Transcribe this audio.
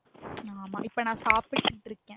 ஆமா இப்ப நா சாப்பிட்டு இருக்கேன்